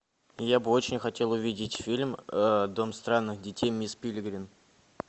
я бы очень хотел увидеть фильм дом странных детей мисс перегрин